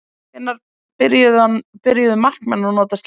Hvenær byrjuðu markmenn að nota slíkt?